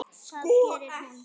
Það gerir hún.